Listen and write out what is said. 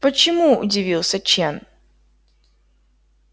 почему удивился чен